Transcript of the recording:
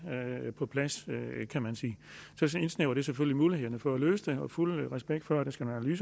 på plads kan man sige så indsnævrer det selvfølgelig muligheden for at løse det og fuld respekt for at der skal nogle